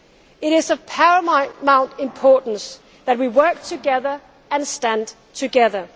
destiny. It is of paramount importance that we work together and stand